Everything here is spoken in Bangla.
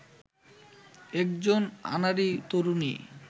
একজন আনাড়ি তরুণী